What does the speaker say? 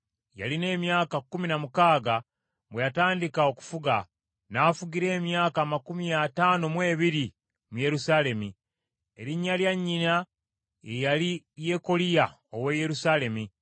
Yalina emyaka kkumi na mukaaga bwe yatandika okufuga, n’afugira emyaka amakumi ataano mu ebiri mu Yerusaalemi. Erinnya lya nnyina ye yali Yekoliya ow’e Yerusaalemi.